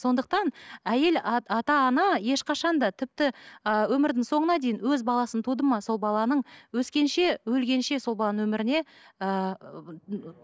сондықтан әйел ата ана ешқашан да тіпті ііі өмірдің соңына дейін өз баласын туды ма сол баланың өскенше өлгенше сол баланың өміріне ыыы